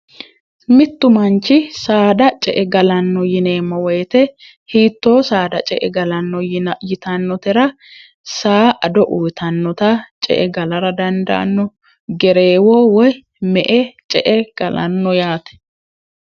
mittu manchi saada ce e galanno yineemmo woyite hiittoo saada ce e galanno yi yitannotira saa ado uyitannota ce e galara dandaanno gereewoo woy me e ce e galanno yaate